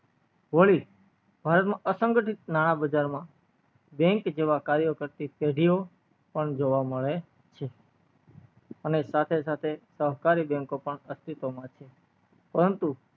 ભારત માં અસંગીત નાણા બજાર માં bank જેવા કર્યો કરતી પેઢીઓ પણ જોંવા મળે છે અને સાથે સાથે સહકારી bank પણ અસ્તિત્વ માં છે પરંતુ